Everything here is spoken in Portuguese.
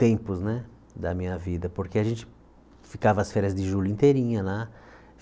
tempos né da minha vida, porque a gente ficava as férias de julho inteirinha lá.